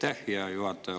Aitäh, hea juhataja!